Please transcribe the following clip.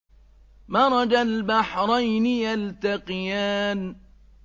مَرَجَ الْبَحْرَيْنِ يَلْتَقِيَانِ